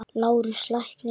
LÁRUS: Lækninn yðar?